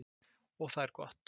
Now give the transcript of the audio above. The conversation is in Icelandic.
Og það er gott.